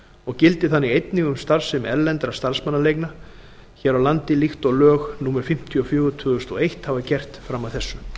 og gildi þannig einnig um starfsemi erlendra starfsmannaleigna hér á landi líkt og lög númer fimmtíu og fjögur tvö þúsund og eitt hafa gert fram að þessu